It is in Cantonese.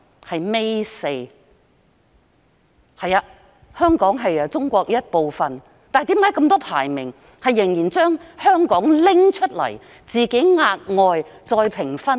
的確，香港是中國的一部分，但為何那麼多項排名仍然把香港劃分出來，額外評分呢？